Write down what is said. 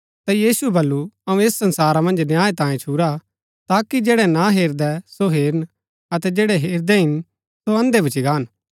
ता यीशुऐ बल्लू अऊँ ऐस संसारा मन्ज न्याय तांयें छुरा ताकि जैड़ै ना हेरदै सो हेरन अतै जैड़ै हेरदै हिन सो अंधे भूच्ची गान